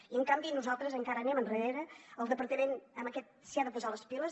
i en canvi nosaltres encara anem enrere el departament s’ha de posar les piles